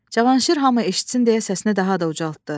Cavanşir hamı eşitsin deyə səsinə daha da ucaltdı.